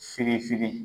Fitini firi